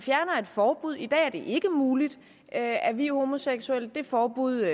et forbud i dag er det ikke muligt at at vie homoseksuelle det forbud